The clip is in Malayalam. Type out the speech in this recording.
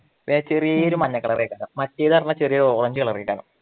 പിന്നെ ചെറിയ ഒരു മഞ്ഞ കളറെ കാണു മറ്റേന്ന് പറഞ്ഞാല് ചെറിയ ഒരു ഓറഞ്ച് കളറായി കാണും